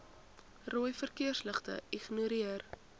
rooi verkeersligte ignoreer